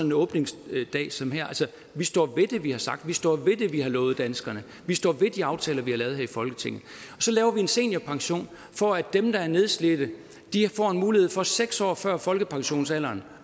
en åbningsdebat som her vi står ved det vi har sagt vi står ved det vi har lovet danskerne vi står ved de aftaler vi har lavet her i folketinget så laver vi en seniorpension for at dem der er nedslidte får mulighed for at seks år før folkepensionsalderen